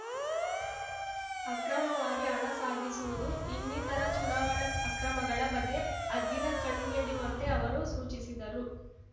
ಅಕ್ರಮವಾಗಿ ಹಣ ಸಾಗಿಸುವುದು ಇನ್ನಿತರ ಚುನಾವಣಾ ಅಕ್ರಮಗಳ ಬಗ್ಗೆ ಹದ್ದಿನ ಕಣ್ಣಿಡುವಂತೆ ಅವರು ಸೂಚಿಸಿದರು